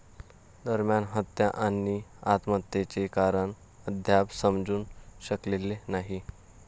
दरम्यान, हत्या आणि आत्महत्येचे कारण अद्याप समजू शकलेले नाही.